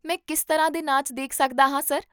ਮੈਂ ਕਿਸ ਤਰ੍ਹਾਂ ਦੇ ਨਾਚ ਦੇਖ ਸਕਦਾ ਹਾਂ, ਸਰ?